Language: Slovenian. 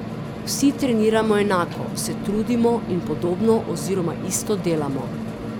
Vsi treniramo enako, se trudimo in podobno oziroma isto delamo.